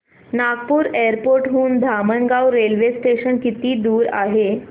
Nagpur airport हून Dhamangaon railway station किती दूर आहे